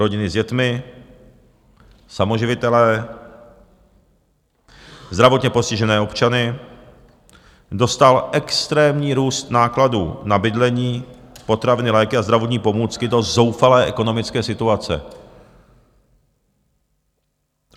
Rodiny s dětmi, samoživitele, zdravotně postižené osoby dostal extrémní růst nákladů na bydlení, potraviny, léky a zdravotní pomůcky do zoufalé ekonomické situace.